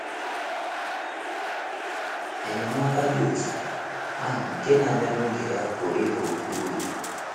Enyemaka dị otú ahụ nke na - abịa n’oge ya pụrụ ịba oké uru.